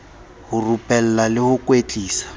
ho rupella le ho kwetlisa